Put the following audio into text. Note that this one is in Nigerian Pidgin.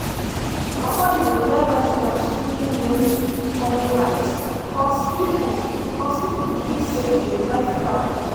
nobody dey wear red cloth during rain-calling rite cause people cause people believe say e dey drive cloud comot.